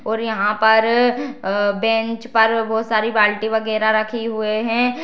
और यहाँ पर अ बेंच पर बहोत सारी बाल्टी वगेरा रखी हुए हैं।